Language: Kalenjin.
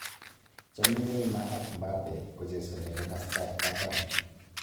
Chame Neymar ak Mbappe kochesane komasatab katam